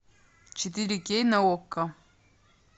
четыре кей на окко